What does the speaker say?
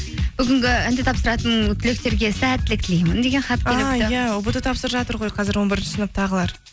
бүгінгі ент тапсыратын түлектерге сәттілік тілеймін деген хат иә ұбт тапсырып жатыр ғой қазір он бірінші сыныптағылар